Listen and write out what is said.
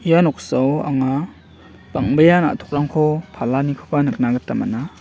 noksao anga bang·bea na·tokrangko palanikoba nikna gita man·a.